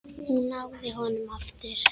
Hún náði honum aftur.